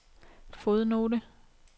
fodnote